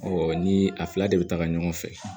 ni a fila de bɛ taga ɲɔgɔn fɛ